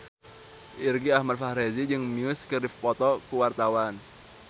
Irgi Ahmad Fahrezi jeung Muse keur dipoto ku wartawan